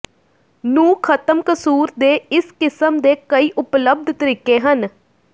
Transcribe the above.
ਨੂੰ ਖਤਮ ਕਸੂਰ ਦੇ ਇਸ ਕਿਸਮ ਦੇ ਕਈ ਉਪਲੱਬਧ ਤਰੀਕੇ ਹਨ